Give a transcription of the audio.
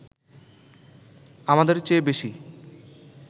আমাদের চেয়ে বেশি